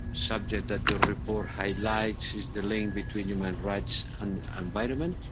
subject that the report highlights is the link between human rights and the environment.